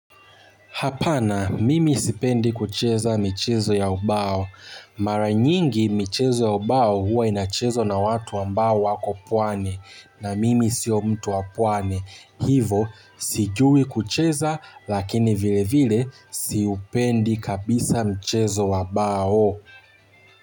Hapana, mimi sipendi kucheza michezo ya umbao. Mara nyingi, michezo ya ubao huwa inachezwa na watu ambao wako pwani na mimi sio mtu wa pwani. Hivo, sijui kucheza lakini vile vile siupendi kabisa michezo wa bao.